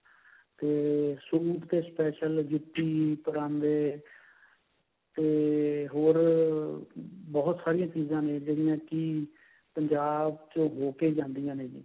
ਤੇ suit ਤੇ special ਜੁੱਤੀ ਪਰਾਂਦੇ ਤੇ ਹੋਰ ਬਹੁਤ ਸਾਰਿਆ ਚੀਜਾ ਨੇ ਜਿਹੜੀਆਂ ਕਿ ਪੰਜਾਬ ਚ ਹੋਕੇ ਜਾਂਦੀਆਂ ਨੇ